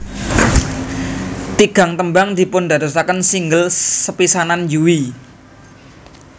Tigang tembang dipundadosaken single sepisanan Yui